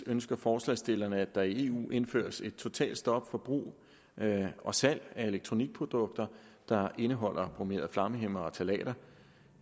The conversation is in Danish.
ønsker forslagsstillerne at der i eu indføres et totalt stop for brug og salg af elektronikprodukter der indeholder bromerede flammehæmmere og ftalater